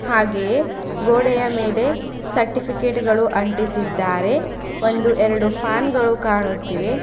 ಹಾಗೆಯೇ ಗೋಡೆಯ ಮೇಲೆ ಸರ್ಟಿಫಿಕೇಟ್ ಗಳು ಅಂಟಿಸಿದ್ದಾರೆ ಒಂದು ಎರಡು ಫ್ಯಾನ್ ಗಳು ಕಾಣುತ್ತಿವೆ.